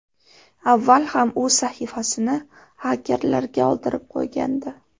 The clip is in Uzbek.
Avval ham u sahifasini hakkerlarga oldirib qo‘ygandi.